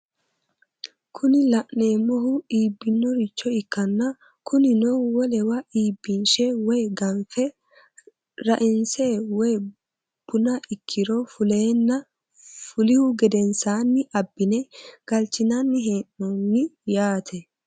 Kuni la'neemohu iibinoricho ikkanna kunino wolewa iibinshe woye ganfe ra"inse woye buna ikkiro fuleenna fulihu gedensaanni abbine galchinanni hee'nooni yaate.